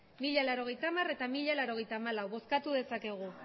mila laurogeita hamar eta mila laurogeita hamalau bozkatu dezakegu